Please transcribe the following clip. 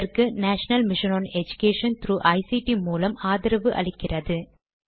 இதற்கு national mission on education ICT மூலம் ஆதரவு அளிக்கிறது